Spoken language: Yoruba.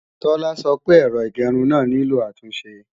Tola sọ pé èrò ìgẹrun náà nílò àtúnṣe